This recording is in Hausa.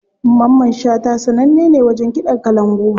Mamman shata sananne ne wajen kiɗan kalangu.